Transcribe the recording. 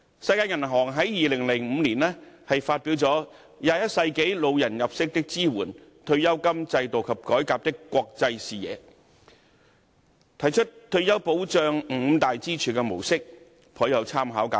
世界銀行在2005年發表了《21世紀老年入息的支援——退休金制度及改革的國際視野》，提出退休保障五大支柱的模式，頗有參考價值。